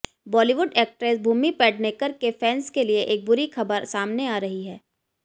Bollywood actress Bhumi Pednekar के fans के लिए एक बुरी खबर सामने आ रही है